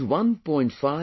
Around 1